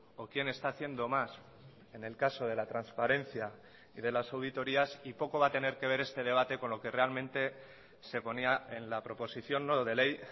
o quién está haciendo más en el caso de la transparencia y de las auditorías y poco va a tener que ver este debate con lo que realmente se ponía en la proposición no de ley